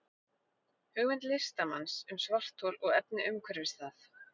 hugmynd listamanns um svarthol og efni umhverfis það